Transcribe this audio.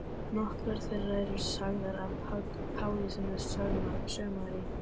Nokkrar þeirra eru sagðar af Páli sem er sögumaður í